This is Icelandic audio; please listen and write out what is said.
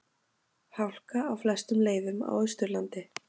Hálka á flestum leiðum á Austurlandi